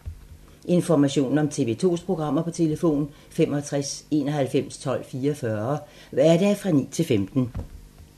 Information om TV 2's programmer: 65 91 12 44, hverdage 9-15.